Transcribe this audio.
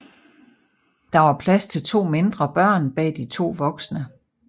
Der var plads til to mindre børn bag de to voksne